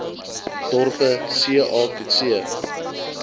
dorpe ca coetzee